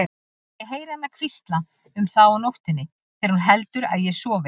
Ég heyri hana hvísla um þá á nóttunni þegar hún heldur að ég sofi.